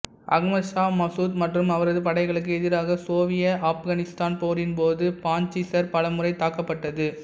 அகமது ஷா மசூத் மற்றும் அவரது படைகளுக்கு எதிராக சோவியத்ஆப்கானிஸ்தான் போரின் போது பாஞ்ச்சிர் பல முறை தாக்கப்பட்டது